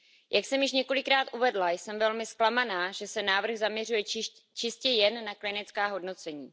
Jak jsem již několikrát uvedla, jsem velmi zklamaná, že se návrh zaměřuje čistě jen na klinická hodnocení.